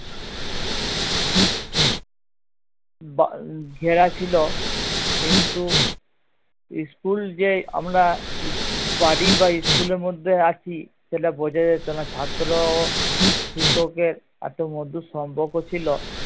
ঘেরা ছিল কিন্তু school যে আমরা বাড়ি বা school এর মধ্যে আছি সেটা বোঝা যেত না ছাত্র ও শিক্ষকের এতো মধুর সম্পর্ক ছিল